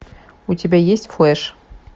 у тебя есть флэш